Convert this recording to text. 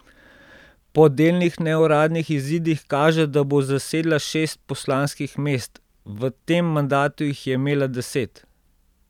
Po delnih neuradnih izidih kaže, da bo zasedla šest poslanskih mest, v tem mandatu jih je imela deset.